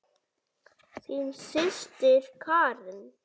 Þín systir Karen.